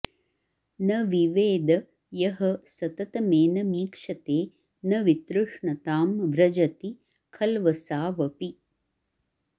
न विवेद यः सततमेनमीक्षते न वितृष्णतां व्रजति खल्वसावपि